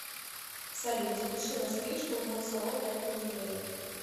салют запиши на стрижку в мой салон на эту неделю